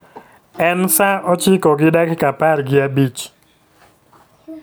En saa ochiko gi dakika apar gi abich .